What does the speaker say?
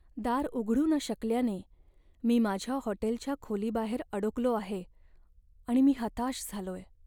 दार उघडू न शकल्याने मी माझ्या हॉटेलच्या खोलीबाहेर अडकलो आहे आणि मी हताश झालोय.